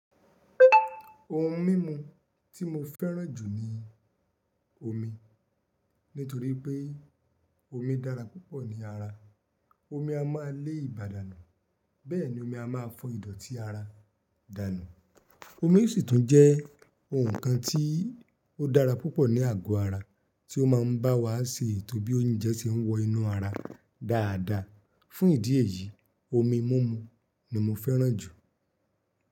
Ohun mímu tí mo fẹ́ràn jù ni omi. Nítorí pé omi dára púpọ̀ ní ara. Omi a máa lé ibà dànù. Bẹ́ẹ̀ ni omi a máa fọ Ìdọ̀tí ara dànù. Omi sì tún jẹ́ ohun kan tí ó dára púpọ̀ ní àgọ́ ara, tí ó máa ń bá wa ṣe ètò bí oúnjẹ ṣe ń wọ inú ara dáadáa. Fún ìdí èyí, omi múmu ni mo fẹ́ràn jù.